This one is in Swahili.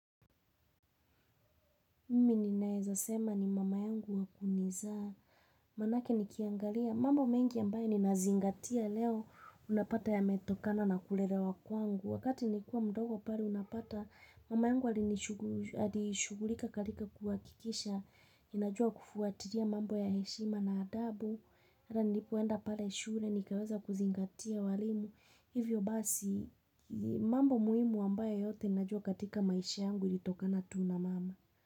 Mimi ninaeza sema ni mama yangu wa kunizaa. Manake nikiangalia mambo mengi ambayo ninazingatia leo unapata yametokana na kulelewa kwangu. Wakati nilikuwa mdogo pale unapata mama yangu alishughulika katika kuhakikisha. Ninajua kufuatilia mambo ya heshima na adabu. Pale nilipoenda pale shule ningeweza kuzingatia walimu Hivyo basi mambo muhimu ambayo yote najua katika maisha yangu ilitokana tu na mama.